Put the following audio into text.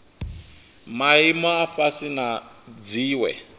maimo a fhasi na dziwe